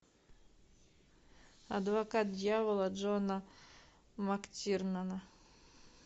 адвокат дьявола джона мактирнана